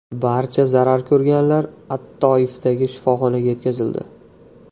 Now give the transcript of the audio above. Barcha zarar ko‘rganlar at-Toifdagi shifoxonaga yetkazildi.